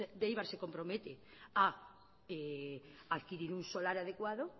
de eibar se compromete a adquirir un solar adecuado